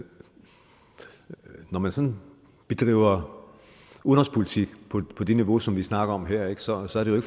når man sådan bedriver udenrigspolitik på det niveau som vi snakker om her så så er det jo